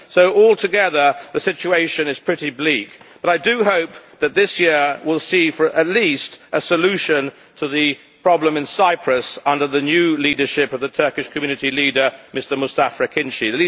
So, altogether, the situation is pretty bleak, but I do hope that this year will see at least a solution to the problem in Cyprus under the new leadership of the Turkish community leader, Mustafa Akinci.